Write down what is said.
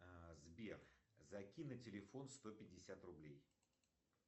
сбер закинь на телефон сто пятьдесят рублей